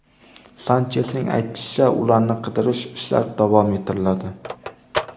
Sanchesning aytishicha, ularni qidirish ishlari davom ettiriladi.